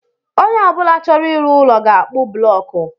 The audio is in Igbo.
Onye ọ bụla chọrọ ịrụ ụlọ ga akpu bụlọku